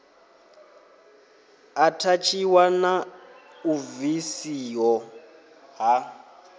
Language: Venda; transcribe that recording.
athatshiwa na u bvisiho ha